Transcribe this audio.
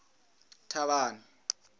thavhani